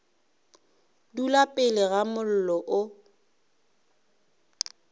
dula pele ga mollo o